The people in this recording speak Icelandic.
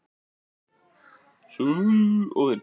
Jónas Margeir: Ertu sáttur við þessa ákvörðun?